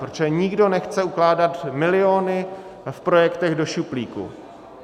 Protože nikdo nechce ukládat miliony v projektech do šuplíku.